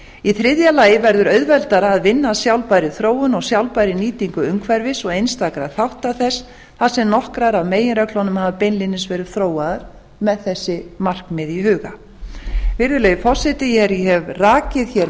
í þriðja lagi verður auðveldara að vinna að sjálfbærri þróun og sjálfbærri nýtingu umhverfis og einstakra þátta þess þar sem nokkrar af meginreglunum hafa beinlínis verið þróaðar með þessi markmið í huga virðulegi forseti ég hef rakið